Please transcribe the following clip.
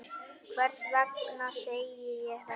Hvers vegna segi ég þetta?